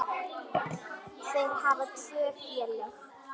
Þeir hafa tvö félög.